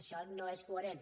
això no és coherent